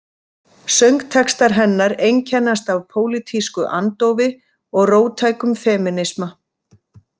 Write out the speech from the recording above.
Söngtextar hennar einkennast af pólitísku andófi og róttækum femínisma.